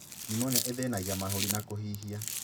Niumonia ĩthĩnagia mahũri na kũhihia